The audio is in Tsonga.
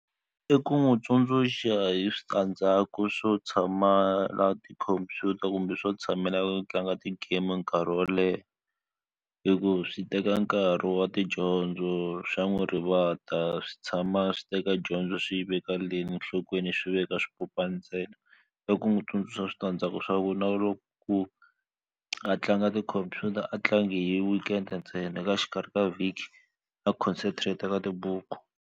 I ku n'wi tsundzuxa hi switandzhaku swo tshamaka tikhompyuta kumbe swo tshamela ku tlanga ti-game nkarhi wo leha hikuva swi teka nkarhi wa tidyondzo swa n'wi rivata swi tshama swi teka dyondzo swi yi veka le nhlokweni swi veka swipopani ntsena i ku n'wi tsundzuxa switandzhaku swa ku na loko ku a tlanga tikhompyuta a tlangi hi weekend ntsena eka xikarhi ka vhiki a concentrate ka tibuku.